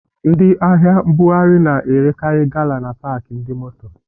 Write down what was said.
Ndị ahịa mbughari na-erekari gala na paki ndi moto